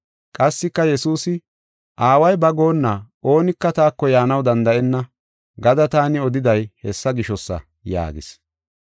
Qassika Yesuusi, “Aaway ba goonna oonika taako yaanaw danda7enna gada taani odiday hessa gishosa” yaagis.